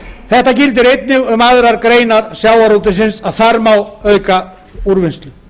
þetta gildir einnig um aðrar greinar sjávarútvegsins þar má auka úrvinnslu